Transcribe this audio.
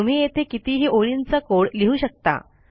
तुम्ही येथे कितीही ओळींचा कोड लिहू शकता